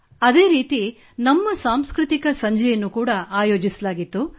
ಅದೇ ರೀತಿ ನಮ್ಮ ಸಾಂಸ್ಕøತಿಕ ಸಂಜೆ ಆಯೋಜಿಸಲಾಗಿತ್ತು